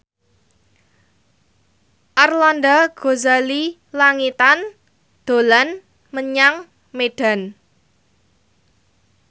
Arlanda Ghazali Langitan dolan menyang Medan